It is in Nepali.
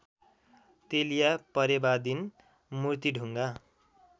तेलिया परेवादिन मूर्तिढुङ्गा